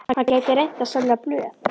Hann gæti reynt að selja blöð.